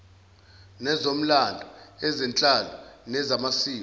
nezomlando ezenhlalo nezamasiko